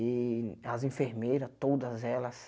E as enfermeiras, todas elas,